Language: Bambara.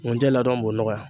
Ŋunjɛ ladɔn b'o nɔgɔya.